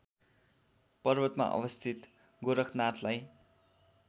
पर्वतमा अवस्थित गोरखनाथलाई